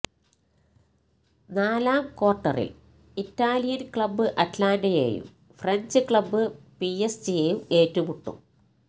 നാലാം ക്വാര്ട്ടറില് Italian club അറ്റ്ലാന്റെയും ഫ്രഞ്ച് ക്ലബ്ബ് പിഎസ്ജിയും ഏറ്റുമുട്ടും